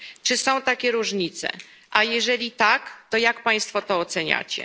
Czy są takie różnice, a jeżeli tak, to jak Państwo to oceniacie?